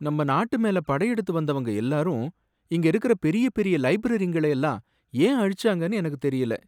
நம்ம நாட்டு மேல படையெடுத்து வந்தவங்க எல்லாரும், இங்க இருக்கற பெரிய பெரிய லைப்ரரிங்களை எல்லாம் ஏன் அழிச்சாங்கனு எனக்குத் தெரியல.